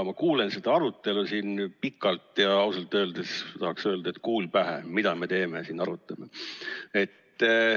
Ma kuulan seda arutelu siin ja ausalt öeldes ma tahaks öelda, et kuul pähe, mida me siin arutame.